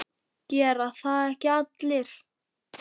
Gera það ekki allir?